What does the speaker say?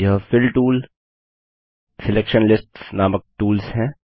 यह fill tool selection lists नामक tools हैं